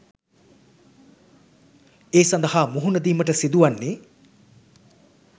ඒ සඳහා මුහුණ දීමට සිදු වන්නේ